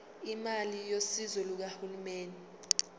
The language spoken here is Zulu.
imali yosizo lukahulumeni